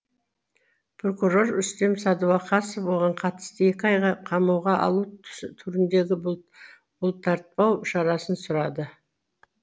прокурор рүстем садуақасов оған қатысты екі айға қамауға алу түріндегі бұлтартпау шарасын сұрады